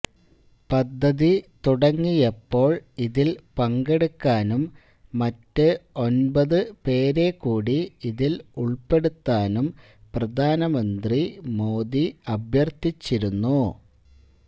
പദ്ധതി തുടങ്ങിയപ്പോള് ഇതില് പങ്കെടുക്കാനും മറ്റ് ഒന്പതു പേരെക്കൂടി ഇതില് ഉള്പ്പെടുത്താനും പ്രധാനമന്ത്രി മോദി അഭ്യര്ഥിച്ചിരുന്നു